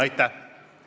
Aitäh!